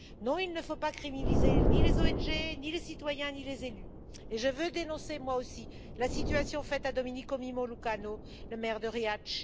Non, il ne faut criminaliser ni les ONG, ni les citoyens, ni les élus, et je veux dénoncer moi aussi la situation faite à Domenico Lucano, le maire de Riace.